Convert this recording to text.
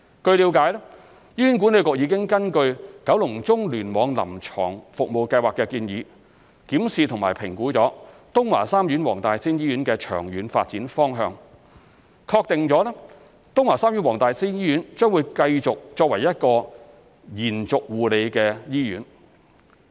據了解，醫管局已根據《九龍中聯網臨床服務計劃》的建議，檢視及評估東華三院黃大仙醫院的長遠發展方向，確定東華三院黃大仙醫院將繼續作為一所延續護理醫院。